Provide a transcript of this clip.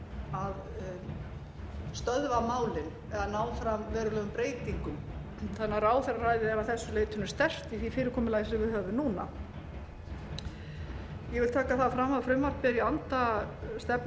málið eða ná fram verulegum breytingum þannig að ráðherraræði er að þessu leytinu sterkt í því fyrirkomulagi sem við höfum núna ég vil taka það fram að frumvarpið er í anda stefnu